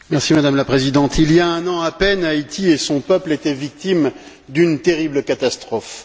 Madame la Présidente, il y a un an à peine, Haïti et son peuple étaient victimes d'une terrible catastrophe.